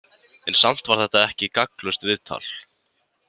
En samt var þetta ekki gagnslaust viðtal.